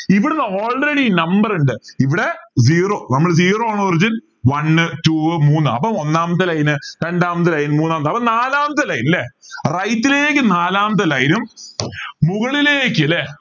ഇവിടുന്നു already number ഉണ്ട് ഇവിടെ zero നമ്മൾ zero ആണ് origin one two മൂന്ന് അപ്പൊ ഒന്നാമത്തെ line രണ്ടാമത്തെ line മൂന്നാമത്തെ അപ്പൊ നാലാമത്തെ line ല്ലേ right ലേക്ക് നാലാമത്തെ line ഉം മുകളിലേക്ക് ല്ലേ